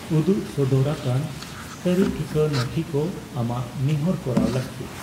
ᱩᱫᱩᱜ ᱥᱚᱫᱚᱨ ᱟᱠᱟᱱ ᱠᱟᱹᱨᱤᱼᱴᱷᱤᱠᱟᱹ ᱱᱚᱛᱷᱤ ᱠᱚ ᱟᱢᱟᱜ ᱱᱮᱦᱚᱨ ᱠᱚᱨᱟᱣ ᱞᱟᱹᱠᱛᱤ ᱾